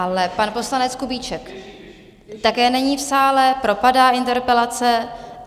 Ale pan poslanec Kubíček také není v sále, propadá interpelace.